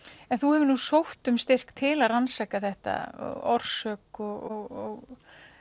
en þú hefur nú sótt um styrk til að rannsaka þetta orsök og